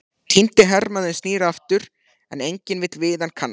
Týndi hermaðurinn snýr aftur, en enginn vill við hann kannast.